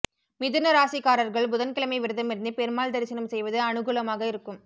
மிதுன ராசிக்காரர்கள் புதன்கிழமை விரதமிருந்து பெருமாள் தரிசனம் செய்வது அனுகூலமாக இருக்கும்